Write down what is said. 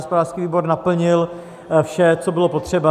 Hospodářský výbor naplnil vše, co bylo potřeba.